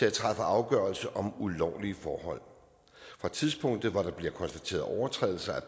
at træffe afgørelser om ulovlige forhold fra tidspunktet hvor der bliver konstateret overtrædelser af